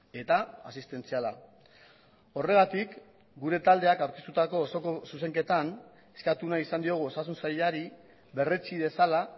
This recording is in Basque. eta asistentziala horregatik gure taldeak aurkeztutako osoko zuzenketan eskatu nahi izan diogu osasun sailari berretsi dezala